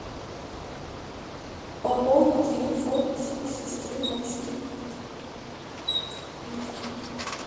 пополни телефон сестры васьки людки